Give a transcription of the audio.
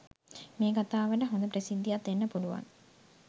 මේ කතාවට හොඳ ප්‍රසිද්දියක් දෙන්න පුළුවන්